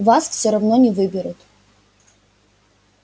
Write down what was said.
вас все равно не выберут